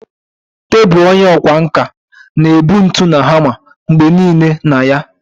Tebụl onye ọkwá nkà na-ebu ntu na hama mgbe nile na ya.